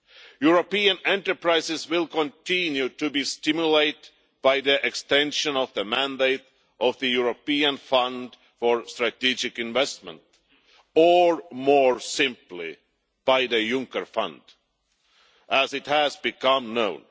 European enterprises will continue to be stimulated by the extension of the mandate of the European Fund for Strategic Investments or, more simply, by the Juncker fund, as it has become known.